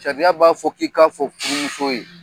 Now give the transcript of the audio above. Sariya b'a fɔ k'i k'a fɔ furumuso ye.